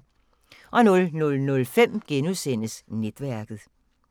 00:05: Netværket *